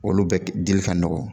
Olu bɛ dili ka nɔgɔ